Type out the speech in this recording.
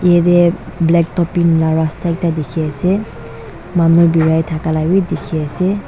yete kala topping la rasta ekta dikhi ase manu birai thaka la wii dikhi ase.